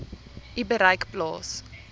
u bereik plaas